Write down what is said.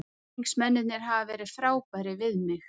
Stuðningsmennirnir hafa verið frábærir við mig.